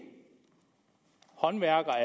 håndværker